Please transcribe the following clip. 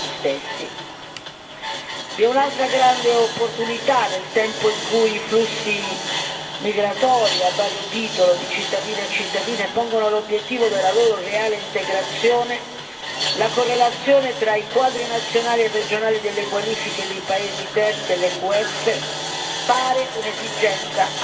Vi è un'altra grande opportunità, nel tempo in cui i flussi migratori a vario titolo di cittadini e cittadine pongono l'obiettivo della loro reale integrazione, la correlazione tra i quadri nazionali e regionali delle qualifiche dei paesi terzi e l'EQF pare un'esigenza assolutamente non trascurabile.